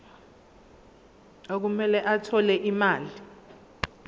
okumele athole imali